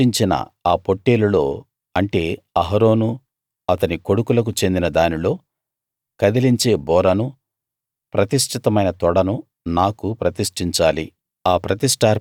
ప్రతిష్టించిన ఆ పొట్టేలులో అంటే అహరోను అతని కొడుకులకు చెందిన దానిలో కదిలించే బోరను ప్రతిష్ఠితమైన తొడను నాకు ప్రతిష్ఠించాలి